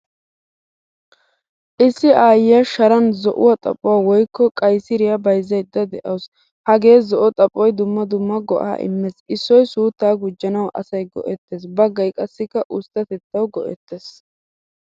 Issi aayiyaa sharan zo'uwaa xaphphuwa woykko qaysiriya bayzayda deawusu. Hagee zo'o xaphphoy dumma dumma go'a immees. Issoy sutta gujjanawu asay go'ettees. Baggay qassikka usttatettawu goettees.